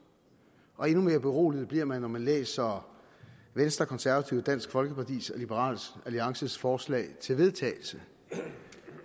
og endnu mere beroliget bliver man når man læser venstre konservative dansk folkeparti og liberal alliances forslag til vedtagelse